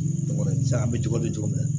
an bɛ cogo di cogo min na